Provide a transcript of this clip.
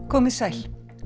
komið sæl